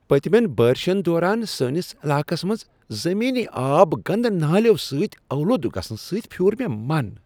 پتِمین بٲرِشن دوران سٲنس علاقس منٛز زمینی آب گندٕ نالیو سۭتۍ آلودٕ گژھنہٕ سٕتۍ پھیور مےٚ من ۔